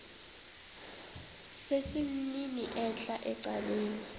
sesimnini entla ecaleni